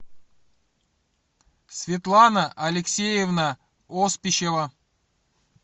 светлана алексеевна оспищева